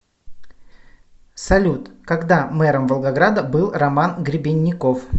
салют когда мэром волгограда был роман гребенников